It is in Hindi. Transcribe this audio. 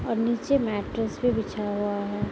और नीचे मैटर्स भी बिछाया हुआ है।